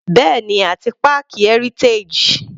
Bẹ́ẹ̀ni àti páàkì Heritage.